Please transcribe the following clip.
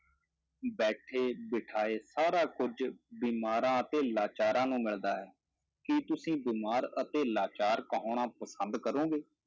ਬੈਠੇ ਬਿਠਾਏ ਸਾਰਾ ਕੁੱਝ ਬਿਮਾਰਾਂ ਅਤੇ ਲਾਚਾਰਾਂ ਨੂੰ ਮਿਲਦਾ ਹੈ, ਕੀ ਤੁਸੀਂ ਬਿਮਾਰ ਅਤੇ ਲਾਚਾਰ ਕਹਾਉਣਾ ਪਸੰਦ ਕਰੋਗੇ?